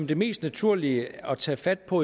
det mest naturlige at tage fat på